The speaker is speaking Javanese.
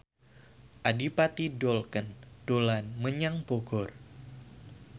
Adipati Dolken dolan menyang Bogor